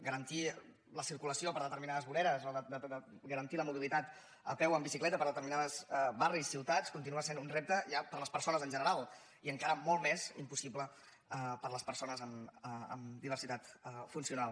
garantir la circulació per determinades voreres o garantir la mobilitat a peu o en bicicleta per determinats barris ciutats continua sent un repte ja per a les persones en general i encara molt més impossible per a les persones amb diversitat funcional